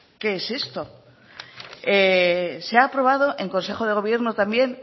qué es esto se ha aprobado en consejo de gobierno también